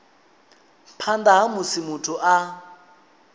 phanḓa ha musi muthu a